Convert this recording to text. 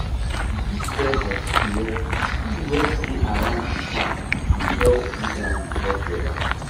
di big stem of tree wey tree wey dey around di farm dey help cool down di hot weather.